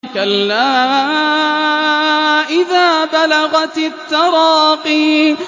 كَلَّا إِذَا بَلَغَتِ التَّرَاقِيَ